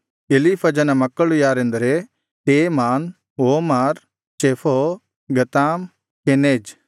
ಎಲೀಫಜನ ಮಕ್ಕಳು ಯಾರೆಂದರೆ Teman Omar ಚೆಫೋ ಗತಾಮ್ ಕೆನೆಜ್